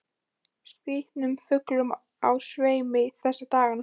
Það er mikið af skrýtnum fuglum á sveimi þessa dagana.